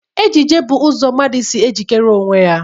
Ejiji bụ ụzọ mmadụ si e jikere onwe ya.